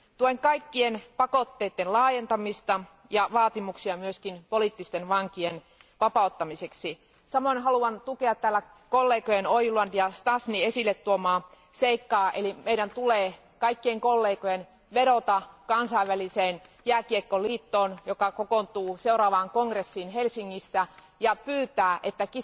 Tuen kaikkien pakotteiden laajentamista ja vaatimuksia myös poliittisten vankien vapauttamiseksi. Samoin haluan tukea täällä kollegojen Ojuland ja Šťastný esille tuomaa seikkaa, eli meidän tulee kaikkien vedota Kansainväliseen jääkiekkoliittoon, joka kokoontuu seuraavaan kongressiin Helsingissä, ja pyytää, että